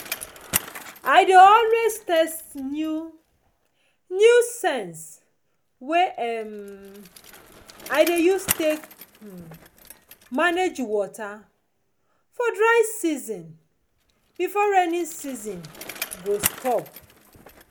i dey always test new new sense wey um i dey use take um manage water for dry season before raining season go stop